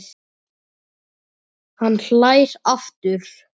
Hann hlær aftur.